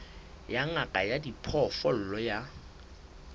ya ngaka ya diphoofolo ya